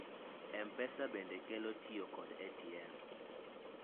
mpesa bende kelo tiyo kod ATM